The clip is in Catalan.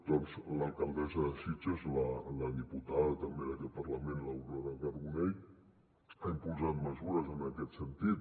doncs l’alcaldessa de sitges la diputada també d’aquest parlament l’aurora carbonell ha impulsat mesures en aquest sentit